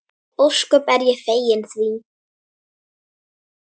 Ég er ósköp fegin því.